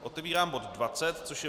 Otevírám bod 20, což je